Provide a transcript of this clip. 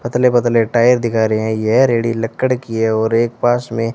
पतले पतले टायर दिखा रहे हैं यह रेडी लकड़ी की है और एक पास में--